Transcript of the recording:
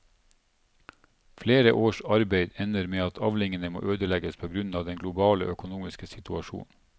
Flere års arbeid ender med at avlingene må ødelegges på grunn av den globale økonomiske situasjonen.